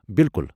بالکل۔